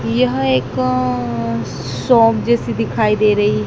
यह एक अ शॉप जैसी दिखाई दे रही--